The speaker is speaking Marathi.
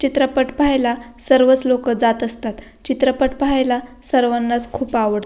चित्रपट पाह्यला सर्वच लोक जात असतात चित्रपट पाह्यला सर्वानाच खूप आवड --